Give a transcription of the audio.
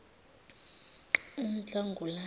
unhlangulana